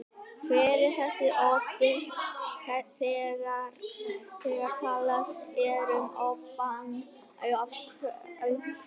Hver er þessi obbi, þegar talað er um obbann af einhverju?